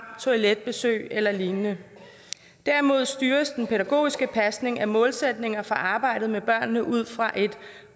toiletbesøg eller lignende derimod styres den pædagogiske pasning af målsætninger for arbejdet med børnene ud fra et